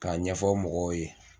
K'a ɲɛfɔ mɔgɔw ye.